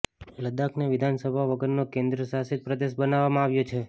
લદ્દાખને વિધાનસભા વગરનો કેન્દ્ર શાસિત પ્રદેશ બનાવવામાં આવ્યો છે